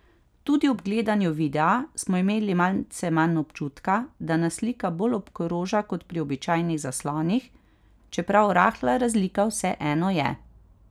Tudi ob gledanju videa smo imeli malce manj občutka, da nas slika bolj obkroža kot pri običajnih zaslonih, čeprav rahla razlika vseeno je.